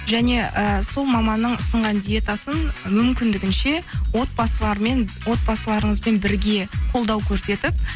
және і сол маманның ұсынған диетасын мүмкіндігінше отбасыларыңызбен бірге қолдау көрсетіп